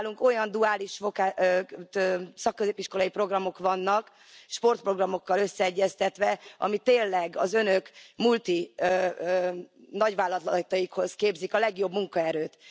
Nálunk olyan duális szakközépiskolai programok vannak sportprogramokkal összeegyeztetve, amik tényleg az önök multi nagyvállalataikhoz képzik a legjobb munkaerőt.